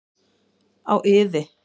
Á iði.